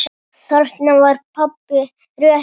Þarna var pabba rétt lýst.